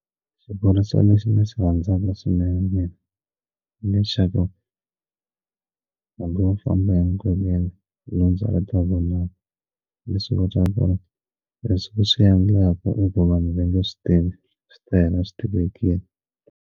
Xivuriso lexi ndzi xi rhandzaka swinene hi lexaku hambi u famba enkoveni lundza ri ta vonaka leswi kotaka ku ri leswi swi endlaka i ku vanhu va nge swi tivi swi ta hela swi tivekini.